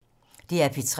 DR P3